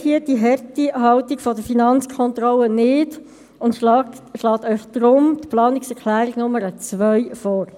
HRM2 ist das harmonisierte Rechnungslegungsmodell und ist die neue Grundlage für die Rechnungslegung von Gemeinden und Kantonen.